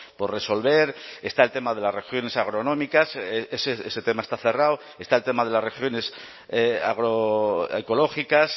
por resolver está el tema de las regiones agronómicas ese tema está cerrado está el tema de las regiones agroecológicas